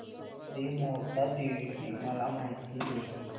श्री मोहटादेवी ची मला माहिती दे